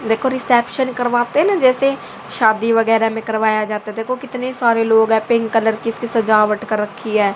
देखो रिसेप्शन करवाते हैं ना जैसे शादी वगैरह में करवाया जाता देखो कितने सारे लोग हैं पिंक कलर की इसकी सजावट कर राखी है।